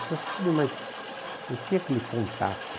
Você sabe, mas não tem aquele contato.